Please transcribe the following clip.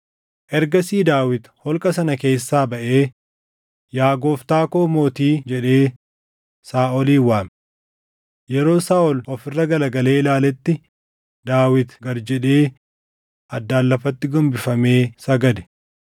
Ergasii Daawit holqa sana keessaa baʼee, “Yaa gooftaa koo mootii!” jedhee Saaʼolin waame. Yeroo Saaʼol of irra garagalee ilaaletti Daawit gad jedhee, addaan lafatti gombifamee sagade.